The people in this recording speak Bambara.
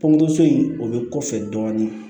Pɔnto so in o bɛ kɔfɛ dɔɔnin